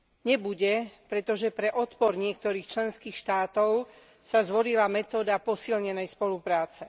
Nebude, pretože pre odpor niektorých členských štátov sa zvolila metóda posilnenej spolupráce.